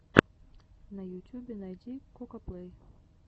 на ютюбе найди кокаплей